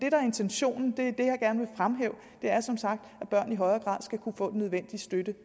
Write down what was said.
er intentionen er som sagt at børn i højere grad skal kunne få den nødvendige støtte